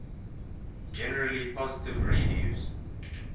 generally positive reviews